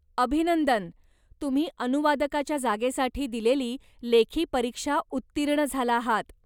अभिनंदन! तुम्ही अनुवादकाच्या जागेसाठी दिलेली लेखी परीक्षा उत्तीर्ण झाला आहात.